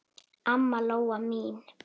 Amma Lóa mín.